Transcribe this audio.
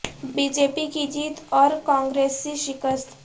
be J P کی جیت او ر کانگرسی شکست